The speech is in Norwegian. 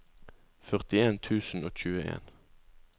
førtien tusen og tjueen